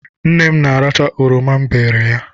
Nne m na-aracha oroma m berele ya.